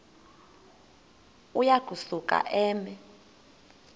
uya kusuka eme